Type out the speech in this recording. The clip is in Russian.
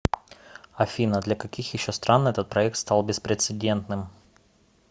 афина для каких еще стран этот проект стал беспрецедентным